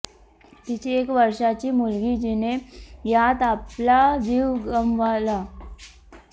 तिची एक वर्षाची मुलगी जिने यात आपला जीव गमावला